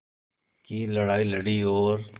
की लड़ाई लड़ी और